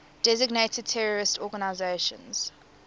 designated terrorist organizations